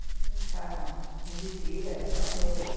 Ficar uns quinze dias, até um mês.